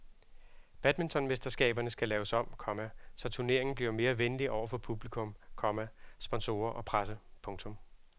Badmintonmesterskaberne skal laves om, komma så turneringen bliver mere venlig over for publikum, komma sponsorer og presse. punktum